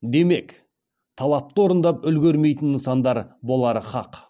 демек талапты орындап үлгермейтін нысандар болары хақ